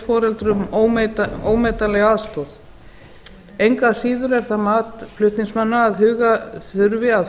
foreldrum ómetanlega aðstoð engu að síður er það mat flutningsmanna að huga þurfi að